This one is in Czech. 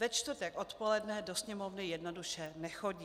Ve čtvrtek odpoledne do Sněmovny jednoduše nechodí.